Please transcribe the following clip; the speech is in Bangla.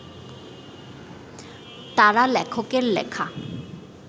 তারা লেখকের লেখা